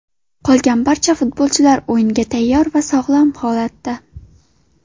Qolgan barcha futbolchilar o‘yinga tayyor va sog‘lom holatda.